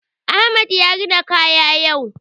Ahmad ya rina kaya yau.